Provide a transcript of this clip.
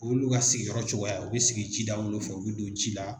o y'olu ka sigiyɔrɔ cogoya ye u bi sigi ji dawolo fɛ u bi don ji la.